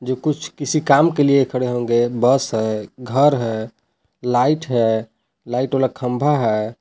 जो कुछ किसी काम के लिए खड़े होंगे बस है घर है लाइट है लाइट वाला खंबा है।